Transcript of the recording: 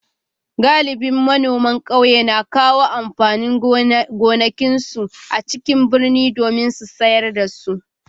Galibin manoman kauyen na kawo amfanin gonakinsu a cikin birni domin sayar da su.